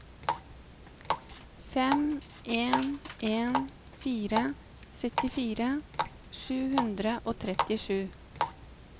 fem en en fire syttifire sju hundre og trettisju